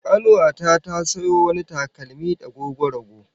Kanuwa ta ta sayo wani takalmi dagogwarago